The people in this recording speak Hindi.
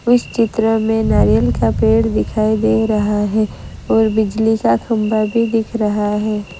इस चित्र में नारियल का पेड़ दिखाई दे रहा है और बिजली का खंबा भी दिख रहा है।